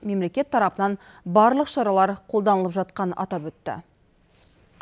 мемлекет тарапынан барлық шаралар қолданылып жатқанын атап өтті